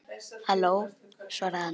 Halló, svaraði hann.